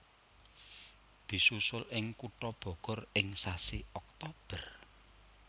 Disusul ing kutha Bogor ing sasi Oktober